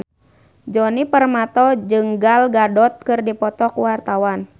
Djoni Permato jeung Gal Gadot keur dipoto ku wartawan